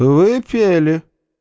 вы пели